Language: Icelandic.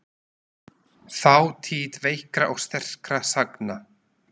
Þátíð veikra og sterkra sagna.